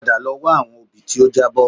Padà lọ wá àwọn obì tí ó jábọ́